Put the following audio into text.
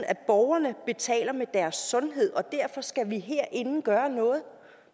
at borgerne betaler med deres sundhed og derfor skal vi herinde gøre noget